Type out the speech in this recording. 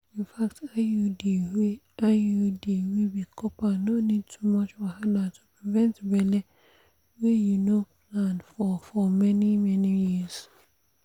infact iud wey iud wey be copper no need too much wahala to prevent belle wey you no plan for for many-many years.